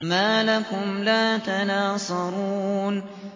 مَا لَكُمْ لَا تَنَاصَرُونَ